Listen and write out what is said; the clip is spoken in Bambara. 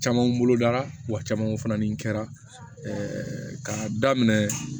Camanw bolo darawa caman kun falen kɛra k'a daminɛ